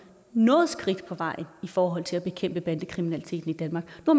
noget skridt på vejen i forhold til at bekæmpe bandekriminaliteten i danmark nu